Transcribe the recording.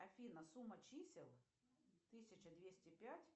афина сумма чисел тысяча двести пять